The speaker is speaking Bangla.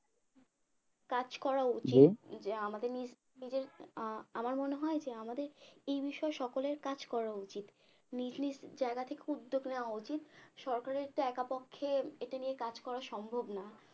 কাজ করা উচিত জি যে আমাদের নিজ নিজের আমার মনে হয় যে আমাদের এই বিষয়ে সকলের কাজ করা উচিত নিজ নিজ জায়গা থেকে উদ্যোগ নেওয়া উচিৎ সরকারের তো একা পক্ষে এটা নিয়ে কাজ করা সম্ভব না